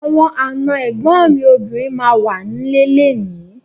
Àwọn àna ẹ̀gbọ́n mi obìnrin ma wà ń lé léèní.